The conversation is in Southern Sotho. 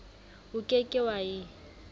o ke ke wa e